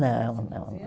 Não, não